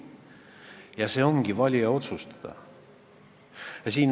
Ja see ongi valija otsustada.